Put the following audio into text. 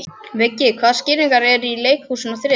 Viggi, hvaða sýningar eru í leikhúsinu á þriðjudaginn?